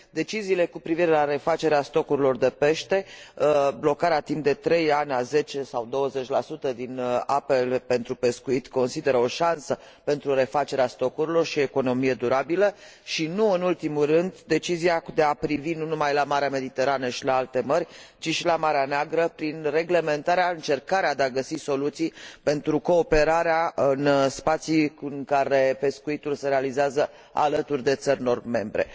deciziile cu privire la refacerea stocurilor de pește, blocarea timp de trei ani a 10 sau 20 din apele pentru pescuit, pe care le consider o șansă pentru refacerea stocurilor și pentru economia durabilă, și nu în ultimul rând decizia de a privi nu numai la Marea Mediterană și la alte mări, ci și la Marea Neagră prin reglementarea, încercarea de a găsi soluții pentru cooperarea în spații în care pescuitul se efectuează alături de țări non membre.